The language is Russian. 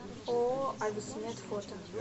ооо ависмед фото